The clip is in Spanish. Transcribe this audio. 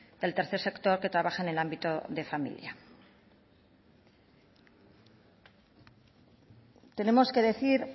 del tercer sector que trabajan en el ámbito de familia tenemos que decir